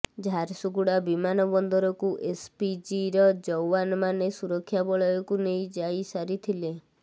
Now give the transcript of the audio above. ଝାରସୁଗୁଡ଼ା ବିମାନ ବନ୍ଦରକୁ ଏସପିଜିର ଜୱାନମାନେ ସୁରକ୍ଷା ବଳୟକୁ ନେଇ ଯାଇସାରିଥିଲେ